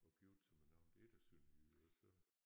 Og giftet sig med nogen der ikke er sønderjyder så